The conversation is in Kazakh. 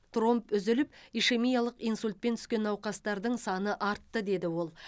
тромб үзіліп ишемиялық инсультпен түскен науқастардың саны артты деді ол